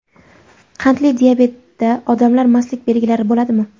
Qandli diabetda odamda mastlik belgilari bo‘ladimi?